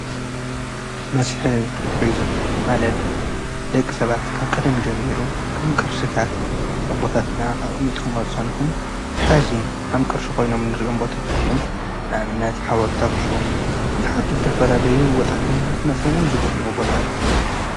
መስሕብ ቱሪዝምን ማለት ደቂ ሰባት ካብ ቀደም ጀሚይሩ ካም ቅርሥታት ኣቦታትና ኣቕሚጡም ኣጻኑሑ ኃዚን ሃም ቅርሲ ኾይኖም ንርኦም ቦታታት እዮም ናዕልነት ኃወልታኩሳም ብዙኃት ዝተፈላለዩ ወጣተኛ ለት መጺኦሙን ዝበኑዎ ቦታ እዩ ::